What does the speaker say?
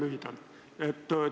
Püüan teha lühidalt.